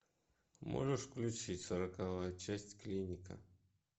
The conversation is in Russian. можешь включить сороковая часть клиника